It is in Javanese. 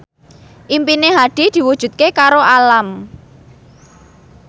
impine Hadi diwujudke karo Alam